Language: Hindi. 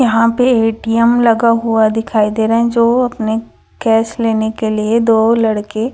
यहां पे ए_टी_एम लगा हुआ दिखाई दे रहा है जो अपने कैश लेने के लिए दो लड़के--